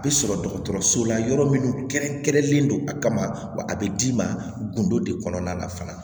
A bɛ sɔrɔ dɔgɔtɔrɔso la yɔrɔ minnu kɛrɛnkɛrɛnlen don a kama wa a bɛ d'i ma gindo de kɔnɔna na fana